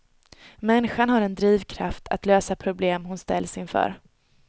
Människan har en drivkraft att lösa problem hon ställs inför.